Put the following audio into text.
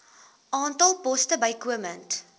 aantal poste bykomend